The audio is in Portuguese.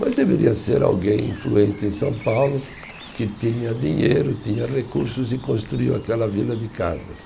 Mas deveria ser alguém influente em São Paulo que tinha dinheiro, tinha recursos e construiu aquela vila de casas.